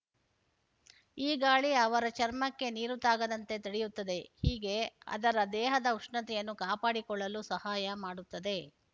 ಈ ಗಾಳಿ ಅವರ ಚರ್ಮಕ್ಕೆ ನೀರು ತಾಗದಂತೆ ತಡೆಯುತ್ತದೆ ಹೀಗೆ ಅದರ ದೇಹದ ಉಷ್ಣತೆಯನ್ನು ಕಾಪಾಡಿಕೊಳ್ಳಲು ಸಹಾಯ ಮಾಡುತ್ತದೆ